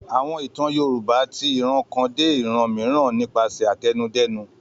Àwọn ìtàn Yorùbá ti ìran kan dé ìran mìíràn nípasẹ̀ àtẹnudẹ́nu.